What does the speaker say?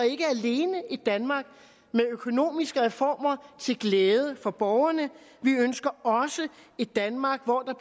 et danmark med økonomiske reformer til glæde for borgerne vi ønsker også et danmark hvor der